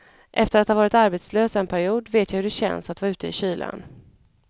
Efter att ha varit arbetslös en period vet jag hur det känns att vara ute i kylan.